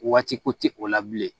Waati ko tɛ o la bilen